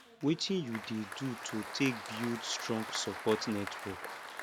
wetin you dey do to take build strong support network